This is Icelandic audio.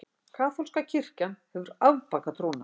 Kaþólska kirkjan hefur afbakað trúna.